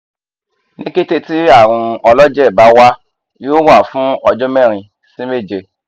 ni kete ti arun ọlọjẹ ba wa yoo wa fun ọjọ merin si meje